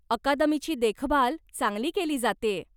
अकादमीची देखभाल चांगली केली जातेय.